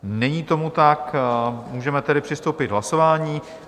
Není tomu tak, můžeme tedy přistoupit k hlasování.